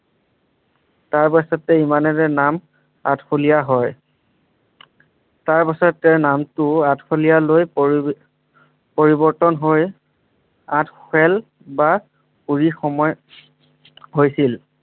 তাৰ পাছতে ইমানে যে নাম আঠখেলীয়া হয় তাৰ পাছতে নামটো আঠখেলীয়া লৈ পৰিবি পৰিৱৰ্তন হৈ আঠখেল বা কুৰি সময় হৈছিল।